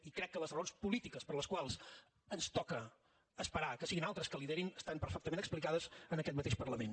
i crec que les raons polítiques per les quals ens toca esperar que siguin altres que liderin estan perfectament explicades en aquest mateix parlament